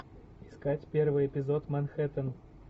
искать первый эпизод манхэттен